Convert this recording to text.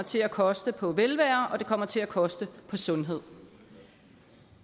til at koste på velvære og at det kommer til at koste på sundhed